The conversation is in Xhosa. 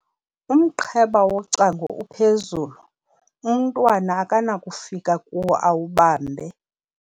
umqheba wocango uphezulu, umntwana akanakufika kuwo awubambe